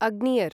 अग्नियर्